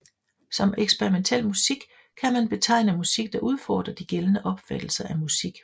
Som eksperimentel musik kan man betegne musik der udfordrer de gældende opfattelser af musik